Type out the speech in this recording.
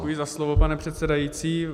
Děkuji za slovo, pane předsedající.